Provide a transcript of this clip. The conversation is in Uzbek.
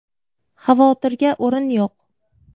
Xavotirga o‘rin yo‘q.